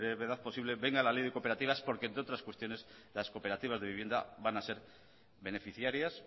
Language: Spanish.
brevedad posible venga la ley de cooperativas porque entre otras cuestiones las cooperativas de vivienda van a ser beneficiarias